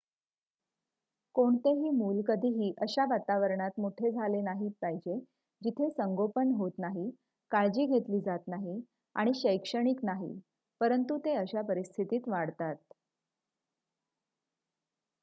कोणतेही मूल कधीही अशा वातावरणात मोठे झाले नाही पाहिजे जिथे संगोपन होत नाही काळजी घेतली जात नाही आणि शैक्षणिक नाही परंतु ते अशा परिस्थितीत वाढतात